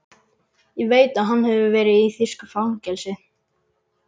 Ég veit að hann hefur verið í þýsku fangelsi.